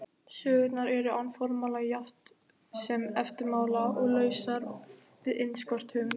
Sögurnar eru án formála jafnt sem eftirmála og lausar við innskot höfundar.